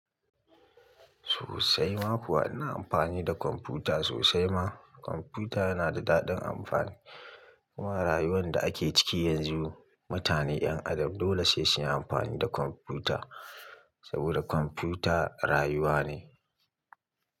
Sosai ma kuwa ina amfani da kwamfuta sosai ma. Kwamfuta yana da daɗin amfani. Wa rayuwan da ake ciki yanzu, mutane 'yan adam dole sai sun yi amfani da kwamfuta saboda kwamfuta rayuwa ne.